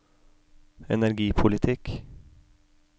energipolitikk